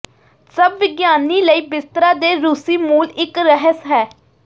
ਸਭ ਵਿਗਿਆਨੀ ਲਈ ਬਿਸਤਰਾ ਦੇ ਰੂਸੀ ਮੂਲ ਇੱਕ ਰਹੱਸ ਹੈ